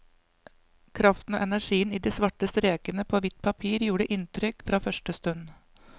Kraften og energien i de svarte strekene på hvitt papir gjorde inntrykk fra første stund.